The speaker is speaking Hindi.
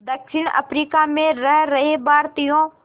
दक्षिण अफ्रीका में रह रहे भारतीयों